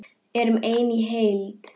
Erum ein heild!